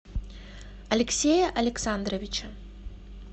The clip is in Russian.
алексея александровича